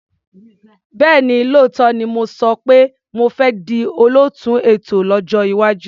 Bẹ́ẹ̀ni, lóòótọ́ ni mo sọ pé mo fẹ́ di olóòtú ètò lọ́jọ́ iwájú.